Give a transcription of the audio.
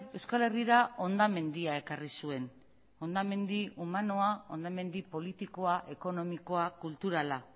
euskal herrira hondamendia ekarri zuen hondamendi humanoa hondamendi politikoa ekonomikoa kulturala